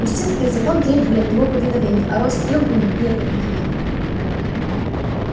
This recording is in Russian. инстинкты и закон требовали от него повиновения а рост требований неповиновения